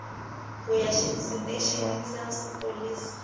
ho ya seteisheneng sa sepolesa